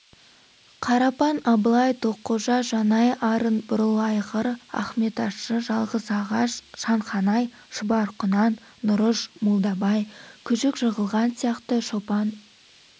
қарапан абылай тоққожа жанай арын бурылайғыр ахметащы жалғызағаш шанханай шұбарқұнан нұрыш молдабай күшікжығылған сияқты шопан